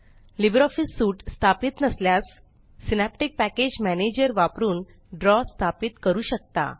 LibreOffice suite स्थापित नसल्यास Synaptic package manager वापरून ड्रॉ स्थापित करू शकता